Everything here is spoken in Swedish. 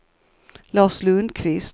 Lars Lundquist